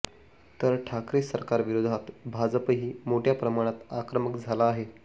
तर ठाकरे सरकारविरोधात भाजपही मोठ्या प्रमाणात आक्रमक झाला आहे